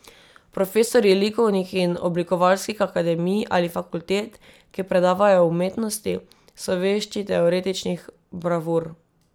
Profesorji likovnih in oblikovalskih akademij ali fakultet, ki predavajo o umetnosti, so vešči teoretičnih bravur.